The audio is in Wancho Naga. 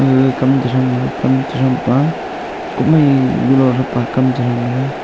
gaga kam chrethanga kam chrethangpa kohmai viulo repa kam chrethanga.